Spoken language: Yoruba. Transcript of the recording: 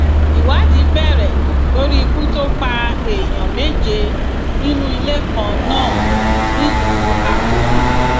ìwádìí bẹrẹ lórí ikú tó pa èèyàn méje nínú ilé kan náà nílùú àpómù